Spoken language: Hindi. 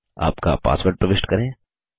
आपका पासवर्ड प्रविष्ट करें